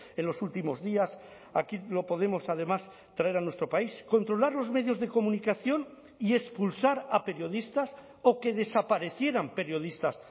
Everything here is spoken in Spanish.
en los últimos días aquí lo podemos además traer a nuestro país controlar los medios de comunicación y expulsar a periodistas o que desaparecieran periodistas